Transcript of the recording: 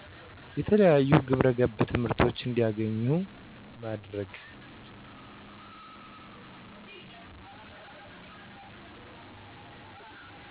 የተለያዩ ግብረገብ ትምህርቶችን እንዲያገኙ ማድረግ